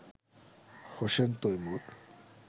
Hossain Taimur